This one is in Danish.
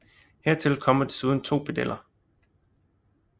Her til kommer desuden 2 pedeller